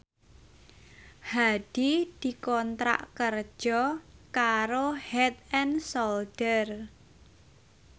Hadi dikontrak kerja karo Head and Shoulder